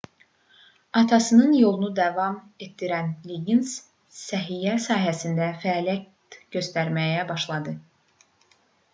atasının yolunu davam etdirən liqqins səhiyyə sahəsində fəaliyyət göstərməyə başladı